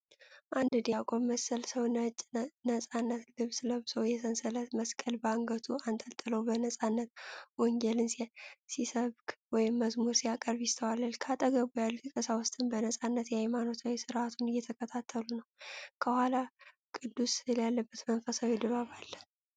አንድ ዲያቆን መሰል ሰው ነጭ ነፃነት ልብስ ለብሶ፣ የሰንሰለት መስቀል በአንገቱ አንጠልጥሎ በነፃነት ወንጌልን ሲሰብክ ወይም መዝሙር ሲያቀርብ ይስተዋላል። ከአጠገቡ ያሉት ቀሳውስትም በነፃነት የሃይማኖታዊ ሥርዓቱን እየተከታተሉ ነው:: ከኋላ ቅዱስ ሥዕል ያለበት መንፈሳዊ ድባብ አለ።